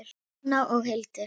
Rúna og Hildur.